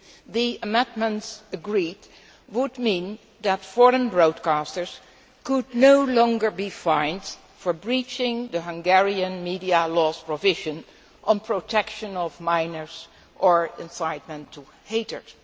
The amendments agreed would mean that foreign broadcasters could no longer be fined for breaching the Hungarian media law's provisions on protection of minors or incitement to hatred.